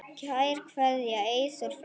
Kær kveðja, Eyþór frændi.